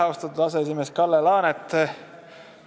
Austatud aseesimees Kalle Laanet!